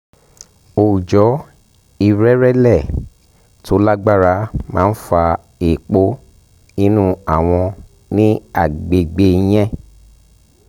oòjò ìrẹrẹ̀lẹ̀ tó lágbára máa ń fa èèpo inú awọ̀n ní àgbègbè yẹn